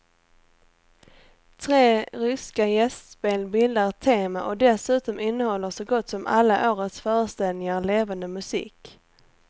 Tre ryska gästspel bildar ett tema och dessutom innehåller så gott som alla årets föreställningar levande musik.